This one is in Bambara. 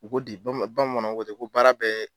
U ko de bamanan bamananw ko ten ko baara bɛ